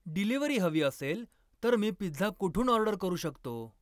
delivery हवी असेल तर मी पिझ्झा कुठून ऑर्डर करू शकतो